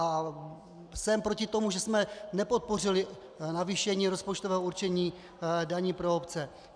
A jsem proti tomu, že jsme nepodpořili navýšení rozpočtového určení daní pro obce.